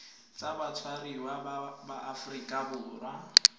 tsa batshwariwa ba aforika borwa